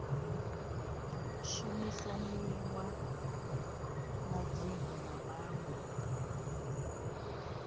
shumisanwa na dzingo na maṅwe